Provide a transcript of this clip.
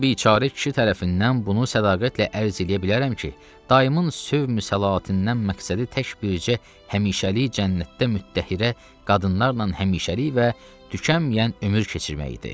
Burda biçare kişi tərəfindən bunu sədaqətlə ərz eləyə bilərəm ki, dayımın sövmül səlatindən məqsədi tək bircə həmişəlik cənnətdə müttəhirə qadınlarla həmişəlik və tükənməyən ömür keçirmək idi.